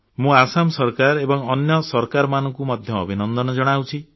ମୁଁ ଆସାମ ସରକାର ଏବଂ ଅନ୍ୟ ସରକାରମାନଙ୍କୁ ମଧ୍ୟ ଅଭିନନ୍ଦନ ଜଣାଉଛି